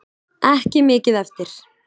Ekki mikið eftir!